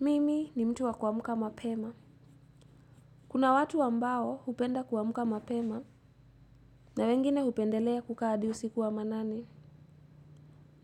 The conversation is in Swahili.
Mimi ni mtu wa kuamuka mapema. Kuna watu ambao upenda kuamuka mapema na wengine upendelea kukaa adi usiku wa manane